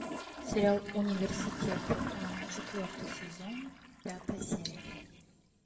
сериал университет четвертый сезон пятая серия